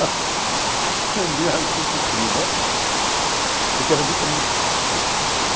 A viagem foi sofrida porque era de trem.